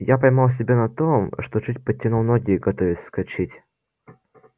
я поймал себя на том что чуть подтянул ноги готовясь вскочить